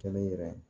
Kɛnɛ